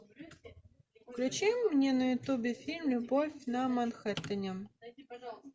включи мне на ютубе фильм любовь на манхэттене